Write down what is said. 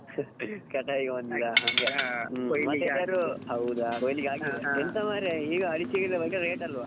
ಕಟಾವ್ಗೆ ಬಂದಿದಾ ಹಂಗೆ . ಹೌದ ಕೊಯ್ಲಿಕ್ಕೆ ಹಾಕಿದಾ ಎಂತ ಮರೇ ಈಗ ಅಡಿಕೆಗೆಲ್ಲಾ ಒಳ್ಳೆ rate ಅಲ್ವಾ.